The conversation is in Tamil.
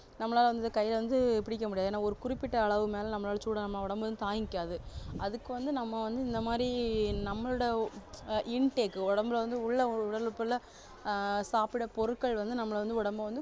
நம்மளால வந்து கைல வந்து புடிக்க முடியாது ஏன்னா ஒரு குறிப்பிட்ட அளவு மேல நம்மளால சூட நம்ம உடம்பு தாங்கிக்காது அதுக்குவந்து நம்ம வந்து இந்தமாதிரி நம்மளோட ஆஹ் intake உடம்புல வந்து உள்ள ஒரு உடலுறுப்புல ஆஹ் சாப்பிடுற பொருட்கள் வந்து நம்மள வந்து உடம்ப வந்து